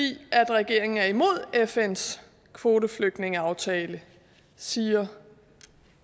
regeringen er imod fns kvoteflygtningeaftale siger